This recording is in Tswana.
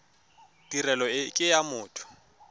tirelo e ke ya motho